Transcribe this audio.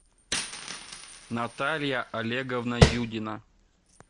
наталья олеговна юдина